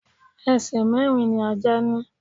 Ẹsẹ̀ mẹ̀rin ni Ajá ni.